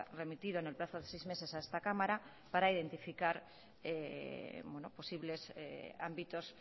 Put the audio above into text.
remitido en el plazo de seis meses a esta cámara para identificar posibles ámbitos